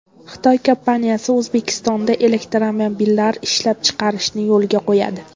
Xitoy kompaniyasi O‘zbekistonda elektromobillar ishlab chiqarishni yo‘lga qo‘yadi.